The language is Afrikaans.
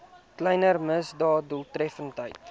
kleiner misdade doeltreffend